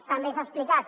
també s’ha explicat